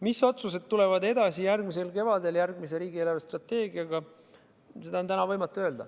Mis otsused tulevad edaspidi, järgmisel kevadel järgmise riigi eelarvestrateegiaga, seda on täna võimatu öelda.